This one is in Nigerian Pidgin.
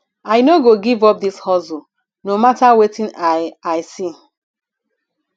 i no go give up dis hustle no mata wetin i i see